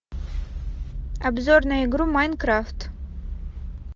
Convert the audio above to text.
обзор на игру майнкрафт